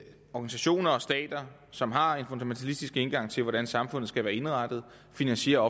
organisationer og stater som har en fundamentalistisk indgang til hvordan samfundet skal være indrettet finansierer